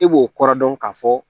E b'o kɔrɔ dɔn ka fɔ